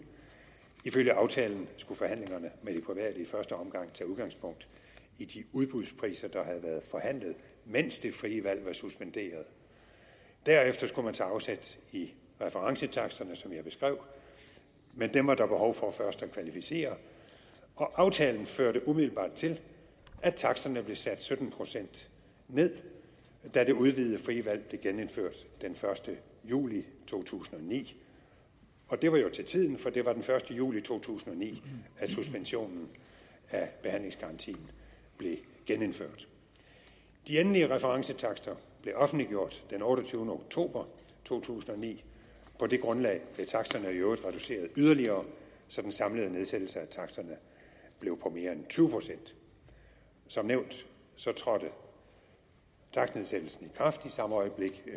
ifølge aftalen skulle forhandlingerne med de private i første omgang tage udgangspunkt i de udbudspriser der havde været forhandlet mens det frie valg var suspenderet derefter skulle man tage afsæt i referencetaksterne som jeg beskrev men dem var der behov for først at kvalificere og aftalen førte umiddelbart til at taksterne blev sat sytten procent ned da det udvidede frie valg blev genindført den første juli to tusind og ni det var jo til tiden for det var den første juli to tusind og ni at suspensionen af behandlingsgarantien blev gennemført de endelige referencetakster blev offentliggjort den otteogtyvende oktober to tusind og ni på det grundlag blev taksterne i øvrigt reduceret yderligere så den samlede nedsættelse af taksterne blev på mere end tyve procent som nævnt trådte takstnedsættelsen i kraft i samme øjeblik